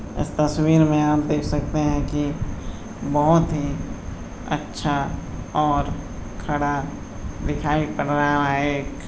इस तस्वीर में आप देख सकते हैं कि बहोत ही अच्छा और खड़ा दिखाई पड़ रहा है।